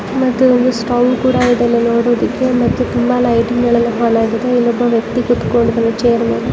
ಮತ್ತು ಒಂದು ಸ್ಟೌ ಕೂಡ ಇದೆ ಲಿ ನೋಡೋದಕ್ಕೆ ಮತ್ತು ತುಂಬಾ ಲೈಟಿಂಗ್ಗಳು ಎಲ್ಲಾ ಆನ್ ಆಗಿದೆ ಇನ್ನೊಬ್ಬ ವ್ಯಕ್ತಿ ಕೂತ್ಕೊಂಡ್ ಇದಾನೆ ಛೈರ್ ಮೇಲೆ.